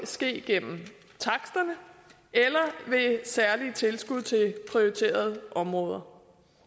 ske gennem taksterne eller ved særlige tilskud til prioriterede områder